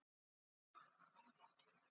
Gekk með öndina í hálsinum framhjá löggubílnum.